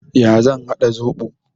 Ya zan haɗa zoɓo?